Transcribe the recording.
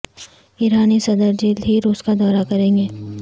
ایرانی صدر جلد ہی روس کا دورہ کریں گے